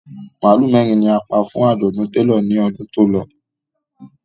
Màálù mẹ́rin ni a pa fún àjọ̀dún télọ̀ ní ọdún tó lọ